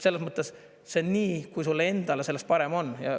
Selles mõttes see nii, kui sul endal sellest parem on.